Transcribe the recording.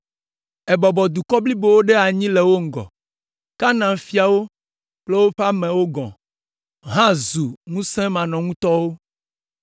Èbɔbɔ dukɔ blibowo ɖe anyi le wo ŋgɔ, Kanaan fiawo kple woƒe amewo gɔ̃ hã zu ŋusẽmanɔŋutɔwo!